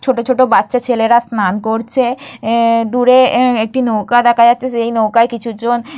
ছোট ছোট বাচ্চা ছেলেরা স্নান করছে আ-এ-এ দূরে আ একটি নৌকা দেখা যাচ্ছে কিছু জন--